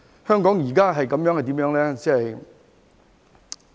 香港現在是怎樣呢？